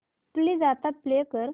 please आता play कर